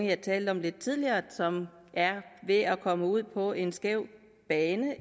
jeg talte om lidt tidligere som er ved at komme ud på en skæv bane